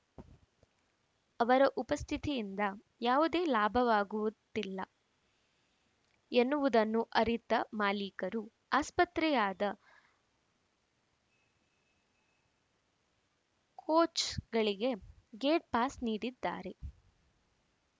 ಅವರ ಉಪಸ್ಥಿತಿಯಿಂದ ಯಾವುದೇ ಲಾಭವಾಗುವುತ್ತಿಲ್ಲ ಎನ್ನುವುದನ್ನು ಅರಿತ ಮಾಲೀಕರು ಆಸ್ಪತ್ರೆಯಾದ ಕೋಚ್‌ಗಳಿಗೆ ಗೇಟ್‌ಪಾಸ್‌ ನೀಡಿದ್ದಾರೆ